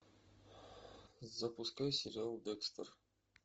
запускай сериал декстер